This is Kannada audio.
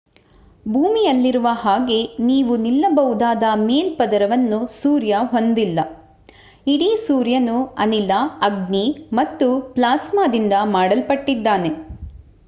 ಭೂಮಿಯಲ್ಲಿರುವ ಹಾಗೆ ನೀವು ನಿಲ್ಲಬಹುದಾದ ಮೇಲ್ಪದರವನ್ನು ಸೂರ್ಯ ಹೊಂದಿಲ್ಲ ಇಡೀ ಸೂರ್ಯನು ಅನಿಲ ಅಗ್ನಿ ಮತ್ತು ಪ್ಲಾಸ್ಮಾದಿಂದ ಮಾಡಲ್ಪಟ್ಟಿದ್ದಾನೆ